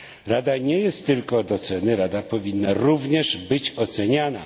Rada nie jest tylko od oceny, Rada powinna również być oceniana.